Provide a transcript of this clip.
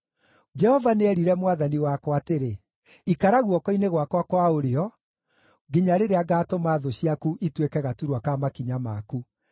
Jehova nĩerire Mwathani wakwa atĩrĩ: “Ikara guoko-inĩ gwakwa kwa ũrĩo, nginya rĩrĩa ngaatũma thũ ciaku ituĩke gaturwa ka makinya maku.”